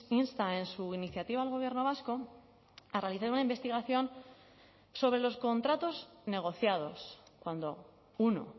insta en su iniciativa al gobierno vasco a realizar una investigación sobre los contratos negociados cuando uno